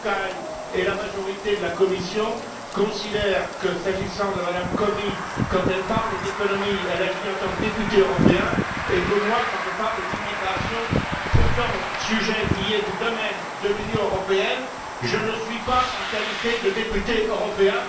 Rapkay et la majorité de la commission considèrent que, s'agissant de Mme Comi, quand elle parle d'économie, elle agit en tant que députée européenne, et que moi, quand je parle d'immigration, sujet qui relève pourtant du domaine de l'Union européenne, je n'agis pas en qualité de député européen...